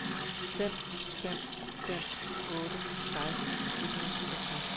fem fem fem otte seksten et hundrede og syvogtres